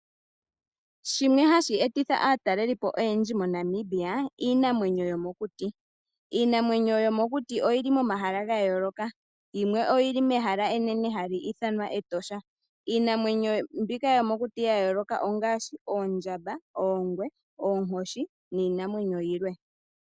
Shimwe hashi etitha aataleli oyendji moNamibia iinamwenyo yomokuti. Iinamwenyo yomokuti oyili momahala gayooloka yimwe oyili mehala enene hali ithanwa Etosha. Iinamwenyo mbika yomokuti yayooloka ongaashi oondjamba, oongwe, oonkoshi niinamwenyo yilwe.